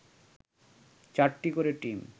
৪টি করে টিম